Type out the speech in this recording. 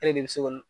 E de bɛ se k'o